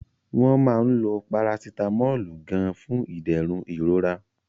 Wọ́n máa ń lo Parasitamọ́ọ̀lù gan-an fún ìdẹ̀rùn ìrora